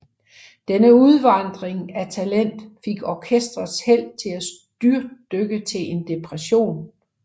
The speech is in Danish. Denne udvandring af talent fik orkestrets held til at styrtdykke til en depression